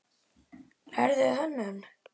Lærðuð þið hönnun?